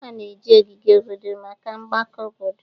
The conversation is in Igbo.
A na-eji ogige obodo maka mgbakọ obodo